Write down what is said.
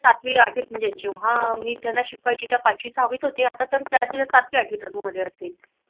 सातवी आठवी म्हणजे मी जेव्हा त्याना शिकवायची तैव्हा पाचवी सहावीत होते आता तर सातवी आठवी़त असतील